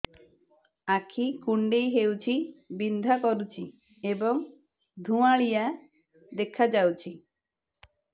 ଆଖି କୁଂଡେଇ ହେଉଛି ବିଂଧା କରୁଛି ଏବଂ ଧୁଁଆଳିଆ ଦେଖାଯାଉଛି